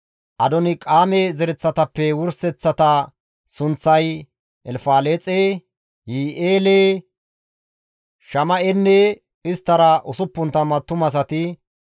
Adonqaame zereththatappe wurseththata sunththay, Elfaleexe, Yi7i7eele, Shama7enne isttara 60 attumasati,